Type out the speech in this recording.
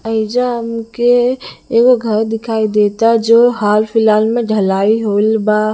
एइजा हमके एगो घर दिखाई देता जो हल - फिलहाल में ढलाई होइल बा--